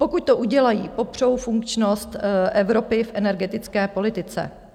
Pokud to udělají, popřou funkčnost Evropy v energetické politice.